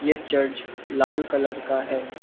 ये चर्च लाल कलर का है।